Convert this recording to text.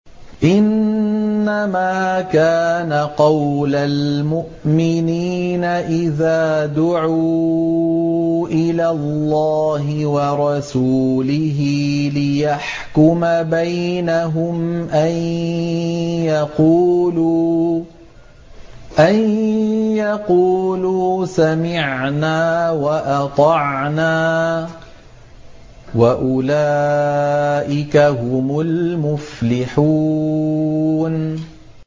إِنَّمَا كَانَ قَوْلَ الْمُؤْمِنِينَ إِذَا دُعُوا إِلَى اللَّهِ وَرَسُولِهِ لِيَحْكُمَ بَيْنَهُمْ أَن يَقُولُوا سَمِعْنَا وَأَطَعْنَا ۚ وَأُولَٰئِكَ هُمُ الْمُفْلِحُونَ